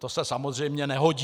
To se samozřejmě nehodí.